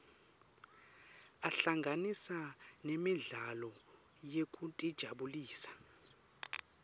ahlanganisa nemidlalo yekutijabulisa